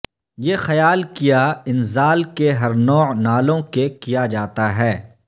یہ خیال کیا انزال کے ہر نوع نالوں کہ کیا جاتا ہے